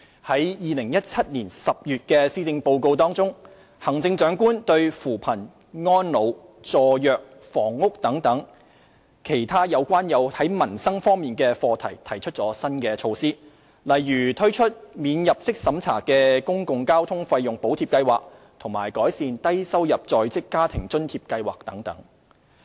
在2017年10月的施政報告中，行政長官就扶貧、安老、助弱、房屋等其他有關民生方面的課題提出新措施，例如推出"免入息審查的公共交通費用補貼計劃"及改善"低收入在職家庭津貼計劃"等。